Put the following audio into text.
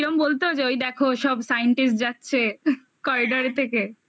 কিরকম বলতো যে ওই দেখো সব scientist যাচ্ছে corridor এর থেকে